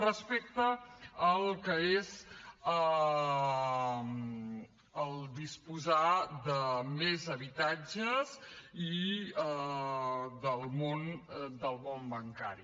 respecte al que és disposar de més habitatges i del món bancari